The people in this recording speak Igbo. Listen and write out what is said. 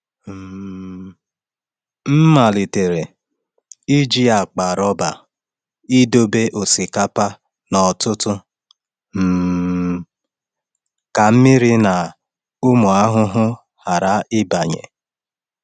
um M malitere iji akpa rọba idobe osikapa n’ọtụtụ um ka mmiri na ụmụ ahụhụ ghara ịbanye.